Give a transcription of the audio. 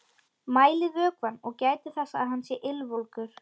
Mælið vökvann og gætið þess að hann sé ylvolgur.